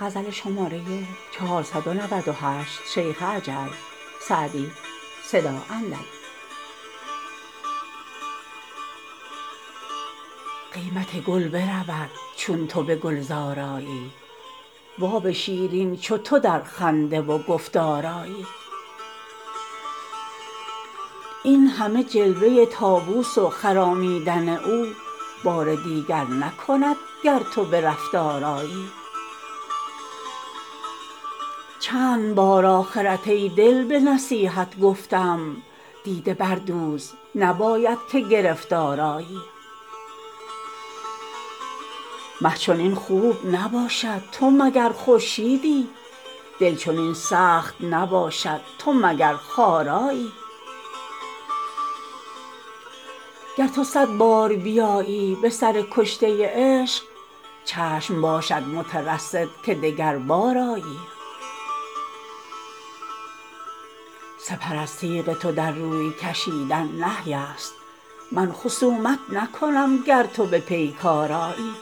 قیمت گل برود چون تو به گلزار آیی و آب شیرین چو تو در خنده و گفتار آیی این همه جلوه طاووس و خرامیدن او بار دیگر نکند گر تو به رفتار آیی چند بار آخرت ای دل به نصیحت گفتم دیده بردوز نباید که گرفتار آیی مه چنین خوب نباشد تو مگر خورشیدی دل چنین سخت نباشد تو مگر خارایی گر تو صد بار بیایی به سر کشته عشق چشم باشد مترصد که دگربار آیی سپر از تیغ تو در روی کشیدن نهی است من خصومت نکنم گر تو به پیکار آیی